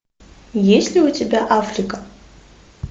есть ли у тебя африка